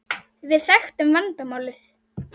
Við þekktum vandamálið.